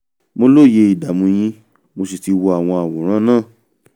mo lóye ìdààmú yín mo sì ti wo àwọn àwòrán náà